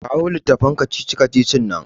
Kawo littafin kacici-kacicin nan.